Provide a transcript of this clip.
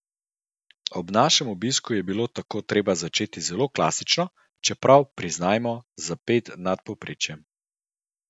Ob našem obisku je bilo tako treba začeti zelo klasično, čeprav, priznajmo, za ped nad povprečjem.